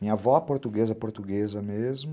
Minha avó, portuguesa, portuguesa mesmo.